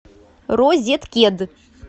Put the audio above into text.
розеткед